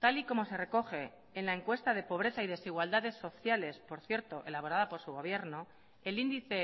tal y como se recoge en la encuesta de pobreza y desigualdades sociales por cierto elaborada por su gobierno el índice